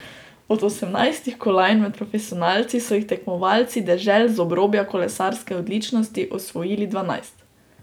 Od osemnajstih kolajn med profesionalci so jih tekmovalci dežel z obrobja kolesarske odličnosti osvojili dvanajst.